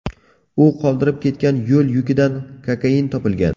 U qoldirib ketgan qo‘l yukidan kokain topilgan.